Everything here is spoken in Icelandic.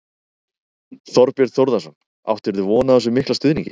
Þorbjörn Þórðarson: Áttirðu von á þessum mikla stuðningi?